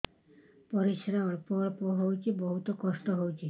ପରିଶ୍ରା ଅଳ୍ପ ଅଳ୍ପ ହଉଚି ବହୁତ କଷ୍ଟ ହଉଚି